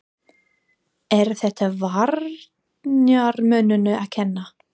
Er þetta varnarmönnunum að kenna?